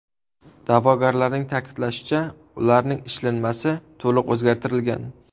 Da’vogarlarning ta’kidlashicha, ularning ishlanmasi to‘liq o‘zlashtirilgan.